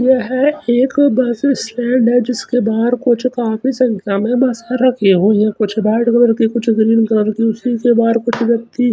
ये हैं एक बस स्टैंड हैं जिसके बाहर कुछ काफी संख्या में बस रखी हुई हैं कुछ रेड कलर की कुछ ग्रीन कलर की उसी के बाहर कुछ व्यक्ति --